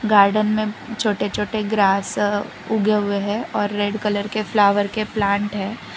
Garden में छोटे छोटे ग्रास उगे हुए हैं और रेड कलर के फ्लावर के प्लांट हैं।